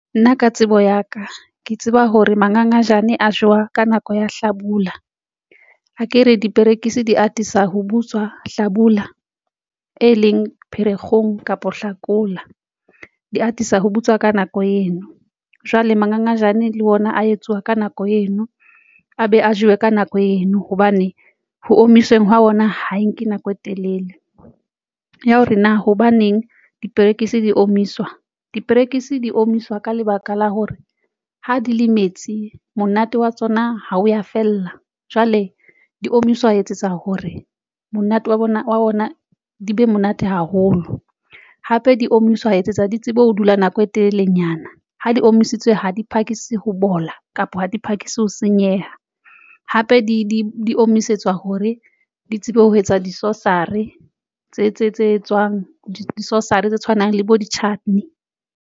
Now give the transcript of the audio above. Nna ka tsebo ya ka ke tseba hore mangangajane a jewa ka nako ya hlabula, akere diperekisi di atisa ho butswa hlabula e leng Pherekgong kapa Hlakola di atisa ho butswa ka nako eno. Jwale mangangajane le ona a etsuwa ka nako eno, a be a jewa ka nako eno hobane ho omiswe hwa ona ha e nke nako e telele ya hore na hobaneng diperekisi di omiswa. Diperekisi di omiswa ka lebaka la hore ha di le metsi monate wa tsona ha o ya fella, jwale di omiswa hore etsetsa hore monate wa bona wa bona di be monate haholo. Hape di omiswa ho etsetsa di tsebe ho dula nako e telelenyana ha di omisitswe ha di phakise ho bola kapa ha di phakisa ho senyeha, hape di omiswetswa hore di tsebe ho etsa di sauce-ry tse tswang di-sauce-ry tse tshwanang le bo di-chutney.